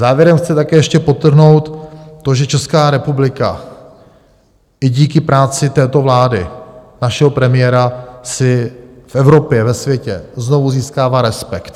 Závěrem chci také ještě podtrhnout to, že Česká republika i díky práci této vlády, našeho premiéra, si v Evropě, ve světě znovu získává respekt.